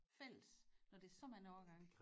Fælles når det er så mange årgange